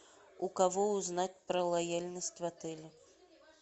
у кого узнать про лояльность в отеле